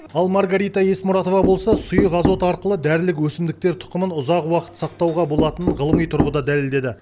ал маргарита есмұратова болса сұйық азот арқылы дәрілік өсімдіктер тұқымын ұзақ уақыт сақтауға болатынын ғылыми тұрғыда дәлелдеді